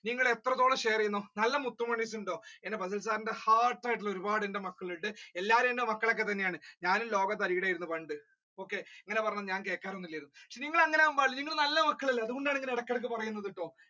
നിങ്ങൾ എത്രത്തോളം share ചെയ്യുന്നോ നല്ല മുത്തുമണ്ണീസ് ഉണ്ടോ എന്റെ fasal sir ന്റെ heart ആയിട്ടുള്ള ഒരുപ്പാട് എന്റെ മക്കൾ ഉണ്ട് എല്ലാവരും എന്റെ മക്കൾ ഒക്കെ തന്നെയാണ് ഞാൻ ലോക തരികിട ആയിരുന്നു okay പണ്ട് ഇങ്ങനെ പറഞ്ഞാൽ ഞാൻ കേൾക്കാർ ഒന്നും ഇല്ലായിരുന്നു നിങ്ങൾ അങ്ങനെ ആവാൻ പാടില്ല നിങ്ങൾ നല്ല മക്കൾ അല്ലെ അതുകൊണ്ടാണ് ഇടക്ക് ഇടക്ക് പറയുന്നത്.